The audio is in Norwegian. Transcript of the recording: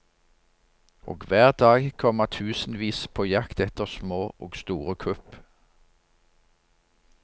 Og hver dag kommer tusenvis på jakt etter små og store kupp.